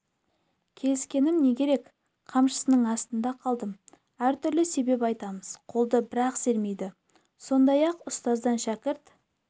келіскенім не керек қамшысының астында қалдым әртүрлі себеп айтамыз қолды бір-ақ сермейді сондай-ақ ұстаздан шәкірт